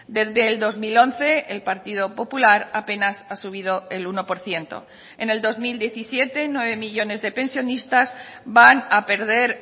desde el dos mil once el partido popular apenas ha subido el uno por ciento en el dos mil diecisiete nueve millónes de pensionistas van a perder